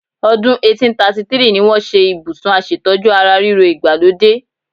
Ọdún 1833 ni wọ́n ṣe Ibùsùn aṣètójú ara ríro ìgbàlódé.